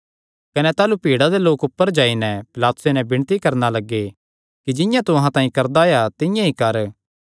कने ताह़लू भीड़ा दे लोक ऊपर जाई नैं पिलातुसे नैं विणती करणा लग्गे कि जिंआं तू अहां तांई करदा आया तिंआं ई कर